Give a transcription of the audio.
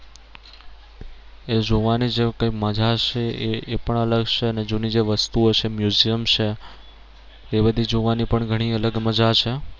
એ જોવાની જે કઈ મજા છે એ એ પણ અલગ છે અને જૂની જે વસ્તુઓ છે museum છે એ બધી જોવાની પણ ઘણી અલગ મજા છે